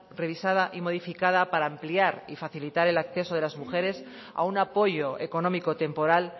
revisada y modificada para ampliar y facilitar el acceso de las mujeres a un apoyo económico temporal